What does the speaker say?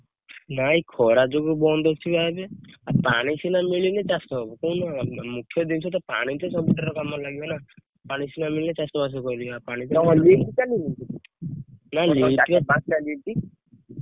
ନାଇଁ ଖରା ଯୋଗୁ ବନ୍ଦ ଅଛି ବା ଏବେ ଆଉ ପାଣି ସିନା ମିଳିଲେ ଚାଷ ହବ କହୁନ ,ମୁଖ୍ୟ ଜିନିଷ ପାଣି ତ ସବୁ ଥିରେ କାମରେ ଲାଗିବ ନା ପାଣି ସିନା ମିଳିଲେ ଚାଷ ବାସ କରିବୁ।